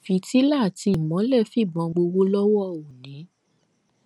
fìtílà àti ìmọ́lẹ̀ fìbọn gbowó lọ́wọ́ òní